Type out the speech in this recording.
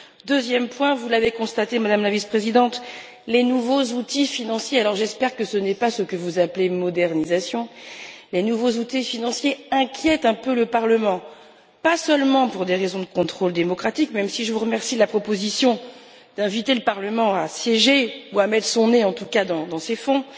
Deuxième point vous l'avez constaté, Madame la Vice présidente, les nouveaux outils financiers j'espère que ce n'est pas ce que vous appelez modernisation inquiètent un peu le Parlement, pas seulement pour des raisons de contrôle démocratique même si je vous remercie de la proposition d'inviter le Parlement à siéger ou à mettre son nez, en tout cas, dans ces fonds